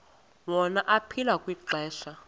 wona aphila kwixesha